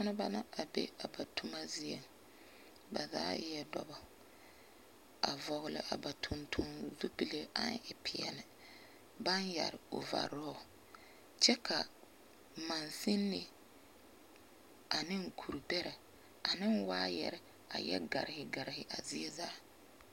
Tontoneba na be a ba toma zieŋ. Ba zaa eɛ dɔbɔ, a vɔgle a ba tontoŋ zupile aŋ e peɛle, baŋ yɛre ovarɔɔl. Kyɛ ka mansinni aneŋ kur-bɛrɛ aneŋ waayuɛre a yɛ garehe garehe a zie zaa.